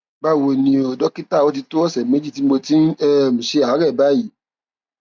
báwo ni o dókítà ó ti tó ọsẹ méjì tí mo ti ń um ṣe àárẹ báyìí